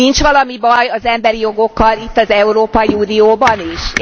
Nincs valami baj az emberi jogokkal itt az Európai Unióban is?